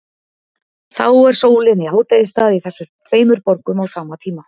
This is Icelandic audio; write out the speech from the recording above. Þá er sólin í hádegisstað í þessum tveimur borgum á sama tíma.